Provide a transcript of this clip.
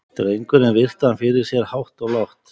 Drengurinn virti hann fyrir sér hátt og lágt.